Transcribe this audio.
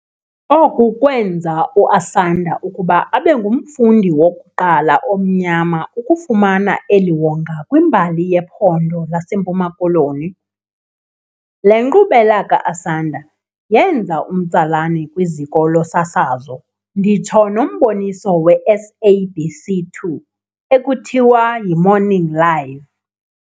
Oku kwamenza uAsanda ukuba abengumfundi wokuqala omnyama ukufumana eli wonga kwimbali yePhondo laseMpuma-Koloni. Le nkqubela kaAsanda yenza umtsalane kwiziko losasazo nditsho nomboniso weSABC 2 ekuthiwa y"imorning live".